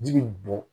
Ji bi bɔn